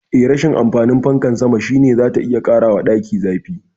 Eh, rashin amfanin fankar sama shine zata iya ƙarawa daki zafi.